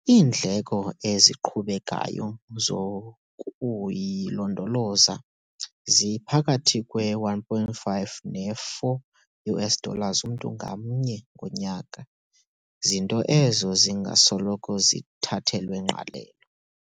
Iindleko eziqhubekayo zokuyilondoloza ziphakathi kwe-1.5 ne-4 USD mntu ngamnye ngonyaka zinto ezo zingasoloko zithathelwa ngqalelo.